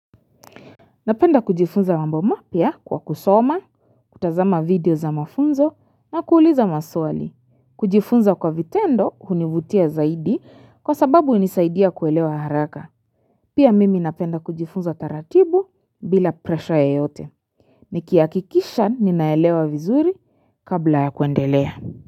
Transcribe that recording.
Napenda kujifunza wamba mapia kwa kusoma, kutazama video za mafunzo na kuuliza maswali. Kujifunza kwa vitendo hunivutia zaidi kwa sababu inisaidia kuelewa haraka. Pia mimi napenda kujifunza taratibu bila presha ya yote. Nikiakikisha ninaelewa vizuri kabla ya kuendelea.